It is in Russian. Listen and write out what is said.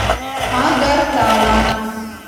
агартала